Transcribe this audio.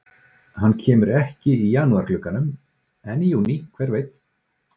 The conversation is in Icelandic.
Hann kemur ekki í janúar glugganum en í júní, hver veit?